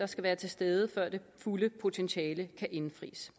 skal være til stede før det fulde potentiale kan indfries